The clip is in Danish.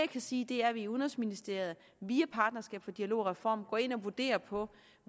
kan sige er at vi i udenrigsministeriet via partnerskab for dialog og reform går ind og vurderer på